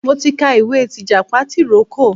Mo ti ka ìwé tìjàpá tìrókò.